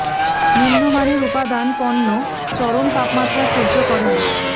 নিম্ন মানের উপাদান পণ্য চরম তাপমাত্রা সহ্য করে না